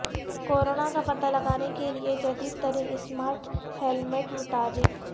corona کا پتہ لگانے کے لیے جدید ترین اسمارٹ ہیلمٹ متعارف